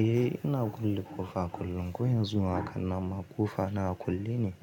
Eh ina kulle ƙofa kullum, ko yanzu ma hakan nan ma ƙofa na a kulle ne